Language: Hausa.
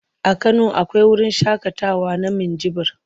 A Kano akwai wurin shaƙatawa na Minjibir.